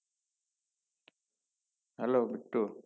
Hello B2